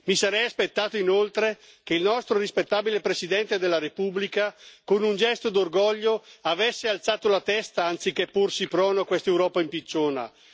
Mi sarei aspettato, inoltre, che il nostro rispettabile Presidente della Repubblica, con un gesto d'orgoglio, avesse alzato la testa, anziché porsi prono a questa Europa impicciona.